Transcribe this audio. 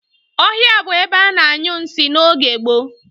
Ohia bu ebe a na-anyu nsi n'oge gboo.